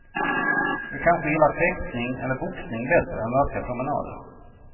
Du kanske gillar fäktning eller boxning bättre än raska promenader.